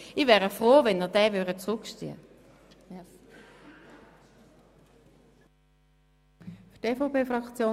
Ich wäre froh, wenn Sie den Antrag zurückziehen würden.